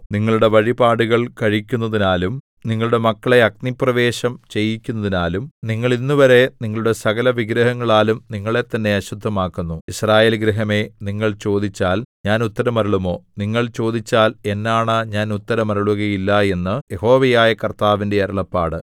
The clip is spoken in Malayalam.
നിങ്ങളുടെ വഴിപാടുകൾ കഴിക്കുന്നതിനാലും നിങ്ങളുടെ മക്കളെ അഗ്നിപ്രവേശം ചെയ്യിക്കുന്നതിനാലും നിങ്ങൾ ഇന്നുവരെ നിങ്ങളുടെ സകലവിഗ്രഹങ്ങളാലും നിങ്ങളെത്തന്നെ അശുദ്ധമാക്കുന്നു യിസ്രായേൽ ഗൃഹമേ നിങ്ങൾ ചോദിച്ചാൽ ഞാൻ ഉത്തരമരുളുമോ നിങ്ങൾ ചോദിച്ചാൽ എന്നാണ ഞാൻ ഉത്തരമരുളുകയില്ല എന്നു യഹോവയായ കർത്താവിന്റെ അരുളപ്പാട്